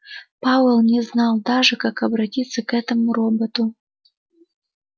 пауэлл не знал даже как обратиться к этому роботу